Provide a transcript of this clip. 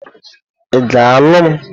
Ị ga-alụ m?